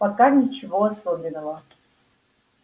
пока ничего особенного